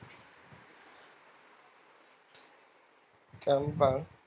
গ্রাম পাও